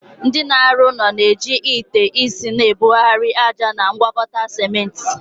Ndị na-arụ ụlọ na-eji ite isi na-ebugharị ájá na ngwakọta ciment.